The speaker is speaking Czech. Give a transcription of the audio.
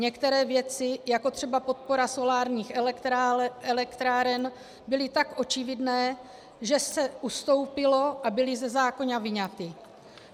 Některé věci, jako třeba podpora solárních elektráren, byly tak očividné, že se ustoupilo a byly ze zákona vyňaty.